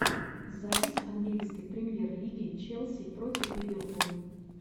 запись английской премьер лиги челси против ливерпуль